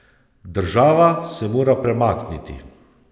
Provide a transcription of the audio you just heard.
Država se mora premakniti.